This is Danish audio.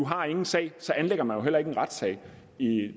har en sag så anlægger man jo heller ikke en retssag i